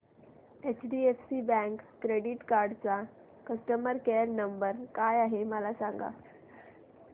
HDFC bank credit card चा customer care number काय आहे मला सांगा